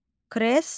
Kreslo.